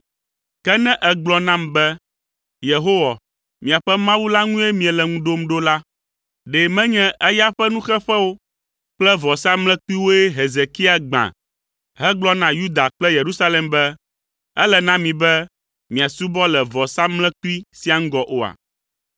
Ke ne ègblɔ nam be, “Yehowa, miaƒe Mawu la ŋue miele ŋu ɖom ɖo la,” ɖe menye eya ƒe nuxeƒewo kple vɔsamlekpuiwoe Hezekia gbã hegblɔ na Yuda kple Yerusalem be, “Ele na mi be miasubɔ le vɔsamlekpui sia ŋgɔ oa?”